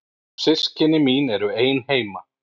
Systkini mín eru ein heima.